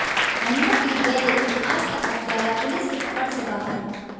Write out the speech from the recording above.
महीनों बीत गए लेकिन आज तक हत्यारा पुलिस की पकड़ से बाहर है